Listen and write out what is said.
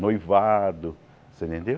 Noivado, você entendeu?